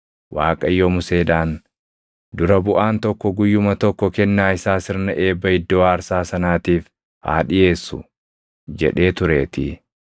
Waaqayyo Museedhaan, “Dura buʼaan tokko guyyuma tokko kennaa isaa sirna eebba iddoo aarsaa sanaatiif haa dhiʼeessu” jedhee tureetii.